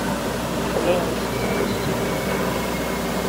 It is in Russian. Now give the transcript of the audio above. пленница запусти